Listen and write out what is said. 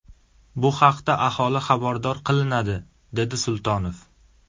Bu haqda aholi xabardor qilinadi”, dedi Sultonov.